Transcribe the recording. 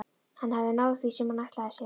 Hann hafði náð því sem hann ætlaði sér.